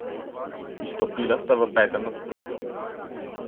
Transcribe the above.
Izstopila sta v petem nadstropju.